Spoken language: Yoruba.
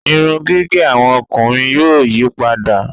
Irun gígé àwọn ọkùnrin yóò yípadà